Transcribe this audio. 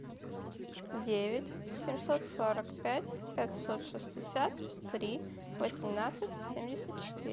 девять семьсот сорок пять пятьсот шестьдесят три восемнадцать семьдесят четыре